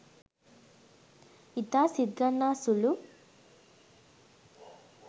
ඉතා සිත්ගන්නා සුළු